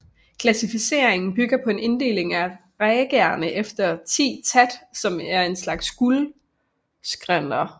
Klassificeringen bygger på en inddeling af ragaerne efter 10 ṭhāt som er en slags grundskalaer